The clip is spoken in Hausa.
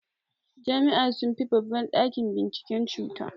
Jami'a sunfi babban ɗakin binciken cuta.